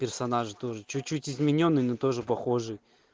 персонажи тоже чуть-чуть изменённый но тоже похоже